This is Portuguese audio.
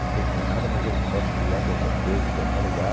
Não tenho mais nada, mas eu posso criar qualquer coisa em qualquer lugar.